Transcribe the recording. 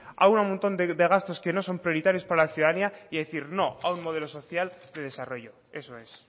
a un montón de gastos que no son prioritarios para la ciudadanía y decir no a un modelo social de desarrollo eso es